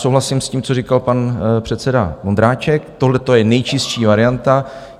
Souhlasím s tím, co říkal pan předseda Vondráček, tohleto je nejčistší varianta.